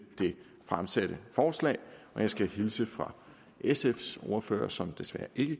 det fremsatte forslag og jeg skal hilse fra sfs ordfører som desværre ikke